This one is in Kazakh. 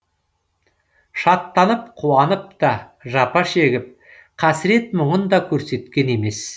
шаттанып қуанып та жапа шегіп қасірет мұңын да көрсеткен емес